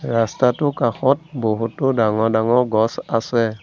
ৰাস্তাটোৰ কাষত বহুতো ডাঙৰ ডাঙৰ গছ আছে।